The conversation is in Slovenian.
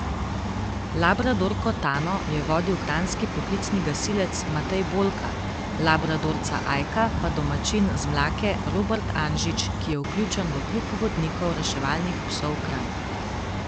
Labradorko Tano je vodil kranjski poklicni gasilec Matej Bolka, labradorca Ajka pa domačin z Mlake Robert Anžič, ki je vključen v Klub vodnikov reševalnih psov Kranj.